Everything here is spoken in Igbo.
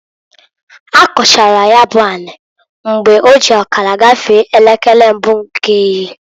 Ha kọchara ya bụ ani mgbe oji ọkara gafee elekere mbụ nke ehihie.